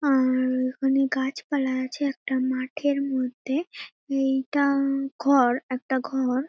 আ-আ-আ উম এখানে গাছপালা আছে একটা মাঠের মধ্যে। এইটা উম ঘর একটা ঘর।